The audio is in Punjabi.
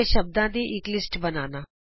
ਸ਼ਬਦਾਂ ਦੀ ਇਕ ਲਿਸਟ ਬਨਾਇਏ